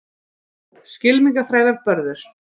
skylmingaþrælar börðust